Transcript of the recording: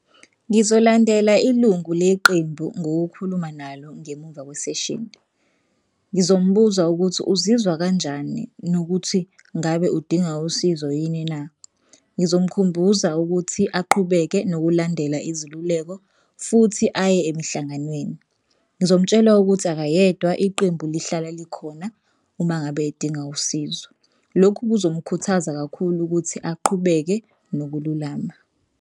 Ngizolandela ilungu leqembu ngokukhuluma nalo ngemuva kwaseshini. Ngizombuza ukuthi uzizwa kanjani nokuthi ngabe udinga usizo yini na? Ngizomukhumbuza ukuthi aqhubeke nokulandela iziluleko futhi aye emhlanganweni. Ngizomtshela ukuthi akayedwa iqembu lihlala likhona uma ngabe edinga usizo. Lokho kuzomkhuthaza kakhulu ukuthi aqhubeke nokululama.